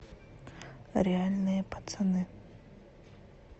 реальные пацаны